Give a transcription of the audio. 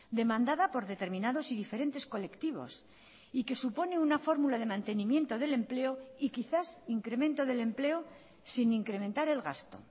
demandada por determinados y diferentes colectivos y que supone una fórmula de mantenimiento del empleo y quizás incremento del empleo sin incrementar el gasto